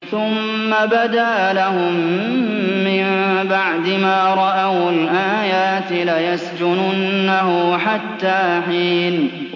ثُمَّ بَدَا لَهُم مِّن بَعْدِ مَا رَأَوُا الْآيَاتِ لَيَسْجُنُنَّهُ حَتَّىٰ حِينٍ